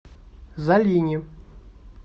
залине